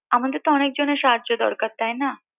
আমাদের তো অনেকজনের সাহায্য দরকার তাই না